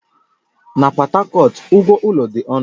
Na Pọt Hakọt, ụgwọ ụlọ dị ọnụ